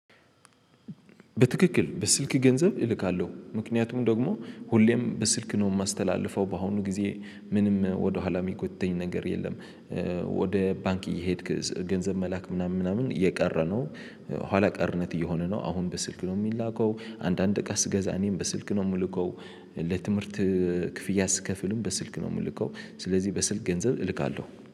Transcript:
በትክክል በስልክ ገንዘብ እልካለሁ ምክንያቱም ደግሞ ሁሌም በስልክ ነው የማስተላልፈው በአሁኑ ጊዜ ምንም ወደኋላ የሚጎትተኝ ነገር የለም። ወደ ባንክ እየሄድክ ገንዘብ መላክ ምናምን ምናምን የቀረ ነው። ኋላ ቀርነት እየሆነ ነው አሁን በስልክ ነው የሚላከው። አንዳንድ እቃ ስገዛ እኔም በስልክ ነው የምልከው። ለትምህርት ክፍያ ስክፍልም በስልክ ነው የምልከው። ስለዚህ በስልክ ገንዘብ እልካለሁ